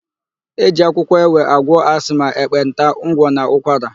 E ji akwụkwọ ewe agwọ asma, ekpenta, ngwọ, na ụkwara.